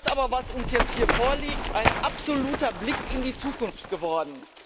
Nun ist das aber, was uns jetzt hier vorliegt, ein absoluter Blick in die Zukunft geworden.